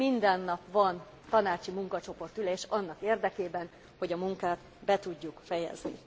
Minden nap van tanácsi munkacsoportülés annak érdekében, hogy a munkát be tudjuk fejezni.